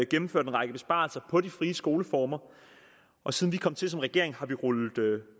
gennemført en række besparelser på de frie skoleformer og siden vi kom til som regering har vi rullet